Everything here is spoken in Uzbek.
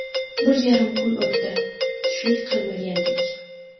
Bir yarim kun o‘tdi, tushlik qilmagandik.